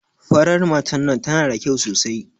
Farar matar nan tana da kyau sosai.